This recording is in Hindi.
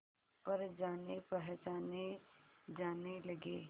पर जानेपहचाने जाने लगे